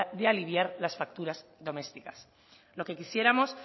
de aliviar las facturas domésticas lo que quisiéramos